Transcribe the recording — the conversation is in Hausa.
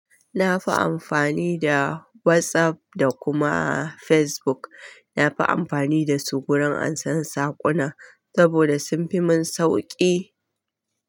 Na fi amfani da WhatsApp da kuma Facebook. Na fi amfani da su wurin ansan saƙuna saboda sun fi mun sauki.